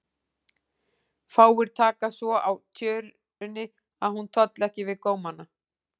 Fáir taka svo á tjörunni að hún tolli ekki við gómana.